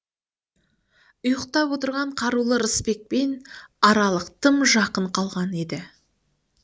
ұйықтап отырған қарулы рысбекпен аралық тым жақын қалған еді